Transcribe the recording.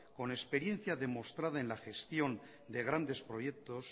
con experiencia demostrada en la gestión de grandes proyectos